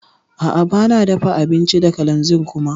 A'a bana dafa abinci da kalanzir kuma.